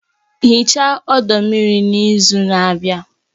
Hichaa ọdọ mmiri n'izu na-abịa